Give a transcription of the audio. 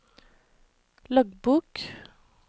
loggbok